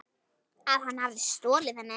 Að hann hafi stolið henni?